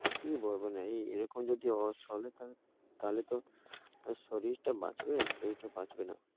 কি বলবেন এইরকম যদি অসচেতন তাহলে তো শরীরটা বাঁচবে? শরীরটা বাঁচবে না।